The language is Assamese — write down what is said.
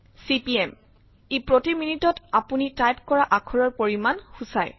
চিপিএম ই প্ৰতি মিনিটত আপুনি টাইপ কৰা আখৰৰ পৰিমান সূচায়